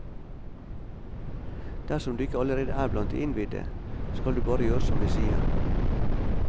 Dersom du ikke allerede er blant de innvidde, skal du bare gjøre som vi sier.